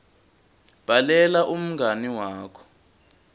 bhalela umngani wakho